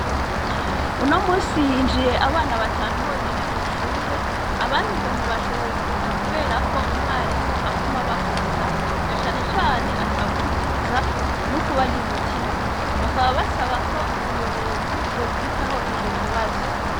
Uno musi ihinjiye abana batanu bonyene mw'ishure abandi ngo ntibashoboye kuza, kubera ko umwarimu aguma bakubita na canecane atabumviriza n'ukubarya umutima bakaba basaba ko ubuyobozi bwo kwitaho ico kibazo.